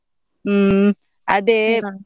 ಹ್ಮ್ ಅದೇ.